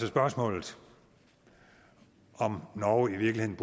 spørgsmål om norge i virkeligheden